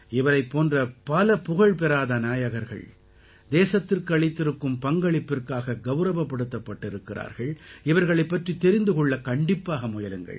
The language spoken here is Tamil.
இவரைப் போன்ற பல புகழப்பெறாத நாயகர்கள் தேசத்திற்கு அளித்திருக்கும் பங்களிப்பிற்காக கௌரவப்படுத்தப்பட்டிருக்கிறார்கள் இவர்ளைப் பற்றித் தெரிந்து கொள்ள கண்டிப்பாக முயலுங்கள்